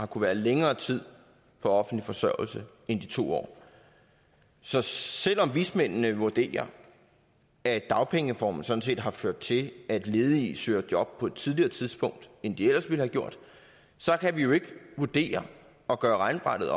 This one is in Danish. være længere tid på offentlig forsørgelse end de to år så selv om vismændene vurderer at dagpengereformen sådan set har ført til at ledige søger job på et tidligere tidspunkt end de ellers ville have gjort så kan vi jo ikke vurdere og gøre regnskabet